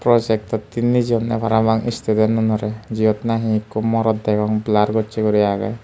projektotte nejeyonne parapang student tunore jiyot nahi ikko morot degong blar gocche guri agey.